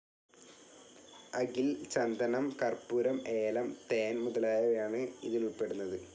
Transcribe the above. അകിൽ, ചന്ദനം, കർപ്പൂരം, ഏലം, ഹണി മുതലായവയാണ് ഇതിൽ ഉൾപ്പെടുന്നത്.